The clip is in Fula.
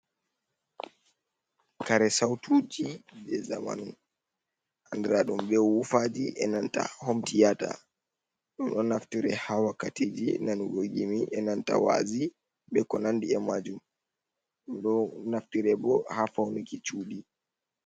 Kare Sautuji je Zamanu andiraɗum be wufaji enanta homtiyata. Ɗum ɗo naftire ha wakkatiji nanugo gimi enanta wa'azi be konandi emajum. Ɗum ɗo naftire bo ha Faunuki Cuɗi.